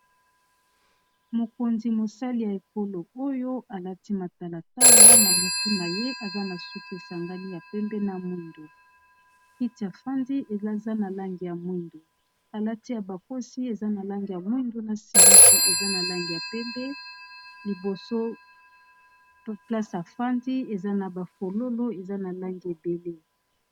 Mokonzi, mosali ya ekolo oyo alati matalatala, na motu na ye aza na suki esangani ya pembe na mwindo. Kiti a fandi eza na langi ya mwindo. Alati abakosi eza na langi ya mwindo, na simisi eza na langi ya pembe. Liboso place afandi, eza na bafololo eza na langi ebele.